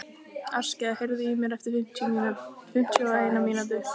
Askja, heyrðu í mér eftir fimmtíu og eina mínútur.